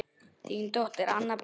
Þín dóttir, Anna Berg.